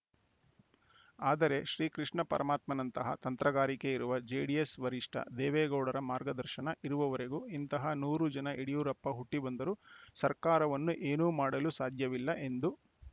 ಆದರೆ ಶ್ರೀಕೃಷ್ಣ ಪರಮಾತ್ಮನಂತಹ ತಂತ್ರಗಾರಿಕೆ ಇರುವ ಜೆಡಿಎಸ್‌ ವರಿಷ್ಠ ದೇವೇಗೌಡರ ಮಾರ್ಗದರ್ಶನ ಇರುವವರೆಗೂ ಇಂತಹ ನೂರು ಜನ ಯಡಿಯೂರಪ್ಪ ಹುಟ್ಟಿಬಂದರೂ ಸರ್ಕಾರವನ್ನು ಏನೂ ಮಾಡಲು ಸಾಧ್ಯವಿಲ್ಲ ಎಂದು